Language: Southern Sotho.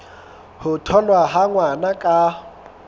ho tholwa ha ngwana ka